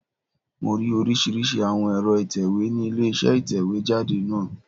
Mo rí oríṣìíríṣìí àwọn ẹ̀rọ ìtẹ̀wé ni ilé isé ìtẹ̀wé jáde náà